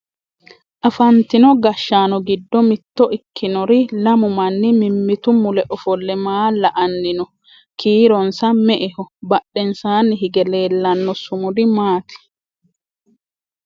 afantino gashshanno giddo mitto ikkinori lamu manni mimmitu mule ofolle maa la"anni no? kiironsa me"eho? badhensaanni hige leellanno sumudi maati?